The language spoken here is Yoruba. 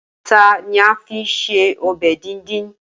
Ata ni a ma fi ṣe ọbẹ̀ díndín.